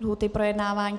lhůty projednávání.